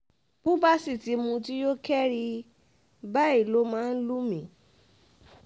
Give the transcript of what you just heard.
bó bá sì ti mutí yó kẹ́ri báyìí ló máa ń lù mí